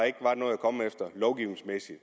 ikke er noget at komme efter lovgivningsmæssigt